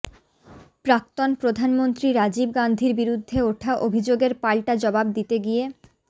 প্রাক্তন প্রধানমন্ত্রী রাজীব গান্ধীর বিরুদ্ধে ওঠা অভিযোগের পাল্টা জবাব দিতে গিয়ে